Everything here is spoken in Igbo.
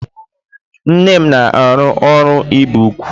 Nne m na-arụ ọrụ ibi ugwu.